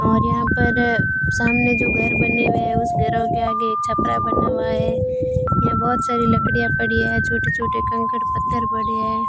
और यहां पर सामने जो घर बने हुए हैं उसे घरों के आगे छपरा बना हुआ है यह बहुत सारी लकड़ियां पड़ी हैं छोटे-छोटे कंकड़ पत्थर पड़े हैं।